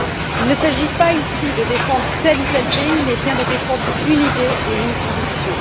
Il ne s'agit pas ici de défendre tel ou tel pays mais bien de défendre une idée et une conviction.